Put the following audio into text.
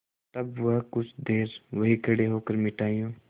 तब वह कुछ देर वहीं खड़े होकर मिठाइयों